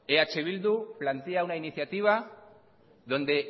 eh bildu plantea una iniciativa donde